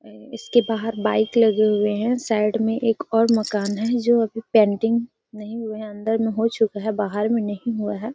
इसके बाहर बाइक लगे हुए हैं। साइड में एक और मकान है जो अभी पेंटिंग नहीं हुए हैं अंदर में हो चुका हैं बाहर में नहीं हुआ है।